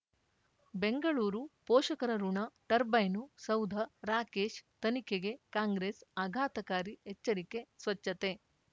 ಬೆಂಗಳೂರು ಪೋಷಕರಋಣ ಟರ್ಬೈನು ಸೌಧ ರಾಕೇಶ್ ತನಿಖೆಗೆ ಕಾಂಗ್ರೆಸ್ ಆಘಾತಕಾರಿ ಎಚ್ಚರಿಕೆ ಸ್ವಚ್ಛತೆ